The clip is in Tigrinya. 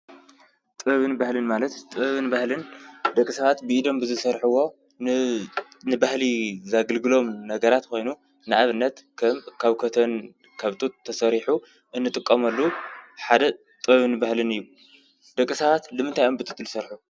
ጥበብን በህልን ማለት ጥበብን በህልን ደቂ ሳባት ብኢዶም ብዝሰርሕዎ ንባህሊ ዘግልግሎም ነገራት ኮይኑ ንኣብነት ከም ካብ ኮተን፣ ካብ ጡት ተሰሪሑ እንጥቆመሉ ሓደ ጥበብን ባህልን እዩ፡፡ ደቂ ሰባት ልምንታይ ኣዮም ብጡት ልሰርሑ?